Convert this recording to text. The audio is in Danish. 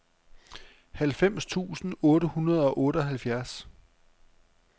halvfems tusind otte hundrede og otteoghalvfjerds